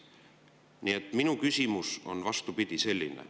Nii et minu küsimus on, vastupidi, selline.